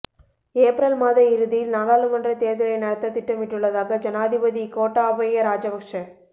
April மாத இறுதியில் நாடாளுமன்றத் தேர்தலை நடத்த திட்டமிட்டுள்ளதாக ஜனாதிபதி கோட்டாபய ராஜபக்ஷ